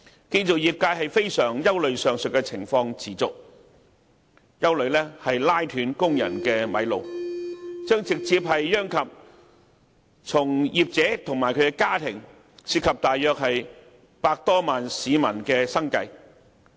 建造業界非常憂慮若上述情況持續，會"拉"斷工人的"米路"，直接殃及從業者及其家庭，涉及約100多萬名市民的生計。